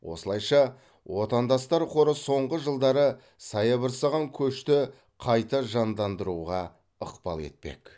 осылайша отандастар қоры соңғы жылдары саябырсыған көшті қайта жандандыруға ықпал етпек